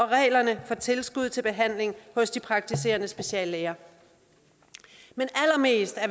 reglerne for tilskud til behandling hos de praktiserende speciallæger allermest